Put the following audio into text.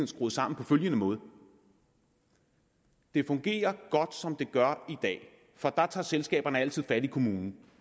skruet sammen på følgende måde det fungerer godt som det gør i dag for der tager selskaberne altid fat i kommunen